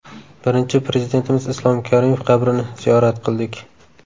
Birinchi Prezidentimiz Islom Karimov qabrini ziyorat qildik.